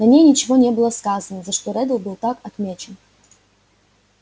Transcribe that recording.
на ней ничего не было сказано за что реддл был так отмечен